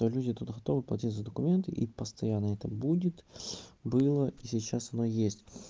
ну люди тут готовы платить за документы и постоянно это будет было и сейчас оно есть